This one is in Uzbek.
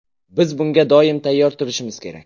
Biz bunga doim tayyor turishimiz kerak.